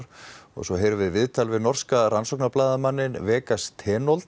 svo heyrum við viðtal við norska Vegas